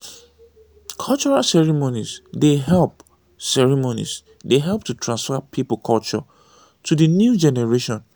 cultural ceremonies dey help ceremonies dey help to transfer pipo culture to di new generation